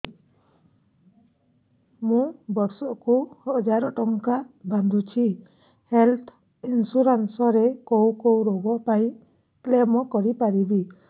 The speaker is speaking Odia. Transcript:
ମୁଁ ବର୍ଷ କୁ ହଜାର ଟଙ୍କା ବାନ୍ଧୁଛି ହେଲ୍ଥ ଇନ୍ସୁରାନ୍ସ ରେ କୋଉ କୋଉ ରୋଗ ପାଇଁ କ୍ଳେମ କରିପାରିବି